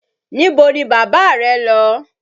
Níbo ni bàbá rẹ́ lọ?